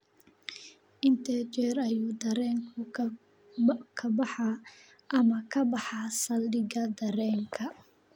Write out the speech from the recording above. intee jeer ayuu tareenku ka baxaa ama ka baxaa saldhigga tareenka